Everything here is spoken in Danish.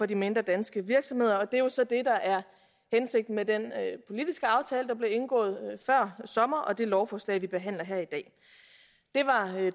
de mindre danske virksomheder og det er jo så det der er hensigten med den politiske aftale der blev indgået før sommer og det lovforslag vi behandler her i dag